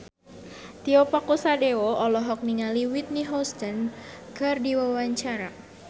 Tio Pakusadewo olohok ningali Whitney Houston keur diwawancara